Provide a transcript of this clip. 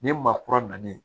Ni maa kura nalen